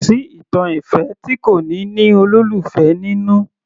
Kò sí ìtàn ìfẹ́ tí kò ní ní olólùfẹ́ nínú